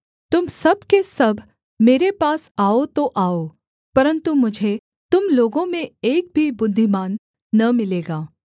तुम सब के सब मेरे पास आओ तो आओ परन्तु मुझे तुम लोगों में एक भी बुद्धिमान न मिलेगा